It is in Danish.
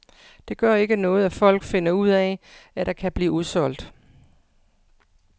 Det gør ikke noget, at folk finder ud af, at der kan blive udsolgt.